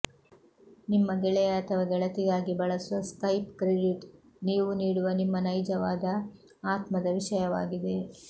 ನಿಮ್ಮ ಗೆಳೆಯ ಅಥವಾ ಗೆಳತಿಗಾಗಿ ಬಳಸುವ ಸ್ಕೈಪ್ ಕ್ರೆಡಿಟ್ ನೀವು ನೀಡುವ ನಿಮ್ಮ ನೈಜವಾದ ಆತ್ಮದ ವಿಷಯವಾಗಿದೆ